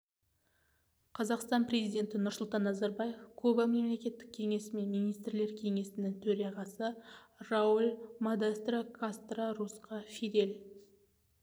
қазақстан президенті нұрсұлтан назарбаев куба мемлекеттік кеңесі мен министрлер кеңесінің төрағасы рауль модестро кастро русқа фидель